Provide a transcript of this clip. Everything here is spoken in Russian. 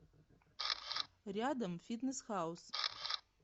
рядом фитнес хаус